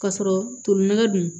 K'a sɔrɔ tolina dun